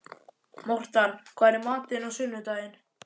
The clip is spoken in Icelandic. Mortan, hvað er í matinn á sunnudaginn?